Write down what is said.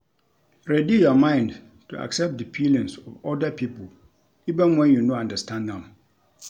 Ready your mind to accept di feelings of oda pipo even when you no understand am